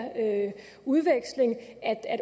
udveksling at